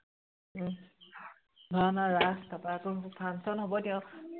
উম ভাওনা ৰাস তাৰ পা আকৌ function হব এতিয়া আও